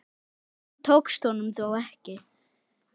Þetta tókst honum þó ekki.